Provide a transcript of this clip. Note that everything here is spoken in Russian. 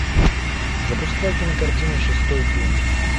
запускай кинокартину шестой день